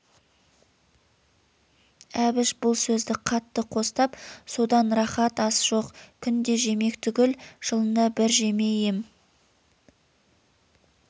әбіш бұл сөзді қатты қостап содан рақат ас жоқ күнде жемек түгіл жылында бір жемей ем